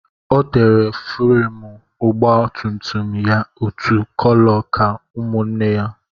Ọ tere fúremú ọgba tum tum ya otu kóló ka ụmụnne ya